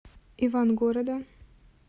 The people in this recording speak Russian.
ивангорода